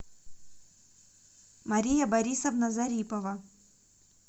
мария борисовна зарипова